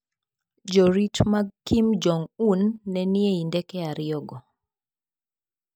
Jorit mag Kim Jong-un ne ni ei ndeke ariyogo.